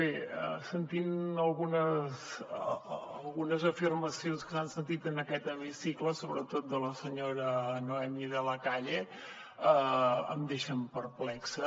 bé sentint algunes afirmacions que s’han sentit en aquest hemicicle sobretot de la senyora noemí de la calle em deixen perplexa